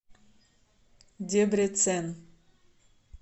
дебрецен